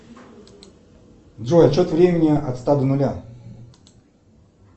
джой отсчет времени от ста до нуля